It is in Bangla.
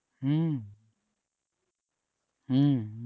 হম হম